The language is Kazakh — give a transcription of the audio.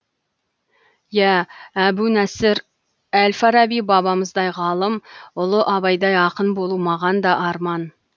иә әбу нәсір әл фараби бабамыздай ғалым ұлы абайдай ақын болу маған да арман